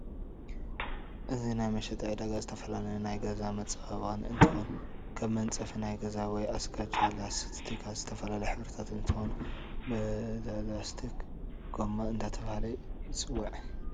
እዚ ናይ መሸጢ ዕዳጋ ዝተፈላለዪ ናይ ገዛ መፃባበቅ እንትኮን ከም መንፃፊ ናይ ገዛ ወይ አስጋጃ፣ ላስትካት ዝተፈላለዩ ሕበሪታት እንትኮኑ ብለላስትክ ጎማ እዳተባህለ ይፂዋዒ።